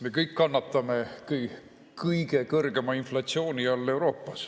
Me kõik kannatame Euroopa kõige kõrgema inflatsiooni all.